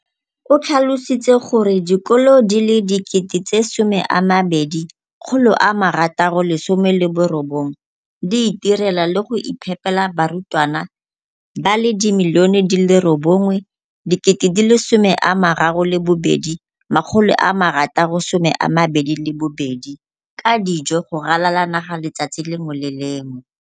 o tlhalositse gore dikolo di le 20 619 di itirela le go iphepela barutwana ba le 9 032 622 ka dijo go ralala naga letsatsi le lengwe le le lengwe.